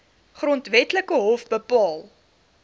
grondwetlike hof bepaal